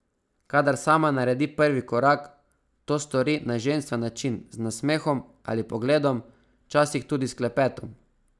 Kadar sama naredi prvi korak, to stori na ženstven način, z nasmehom ali pogledom, včasih tudi s klepetom.